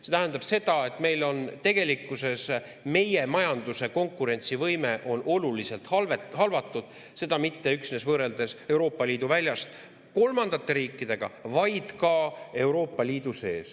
See tähendab seda, et tegelikkuses meie majanduse konkurentsivõime on oluliselt halvatud, seda mitte üksnes võrreldes kolmandate riikidega väljaspoolt Euroopa Liitu, vaid ka Euroopa Liidu sees.